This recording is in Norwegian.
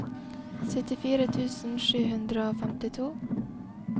syttifire tusen sju hundre og femtito